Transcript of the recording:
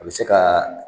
A bɛ se ka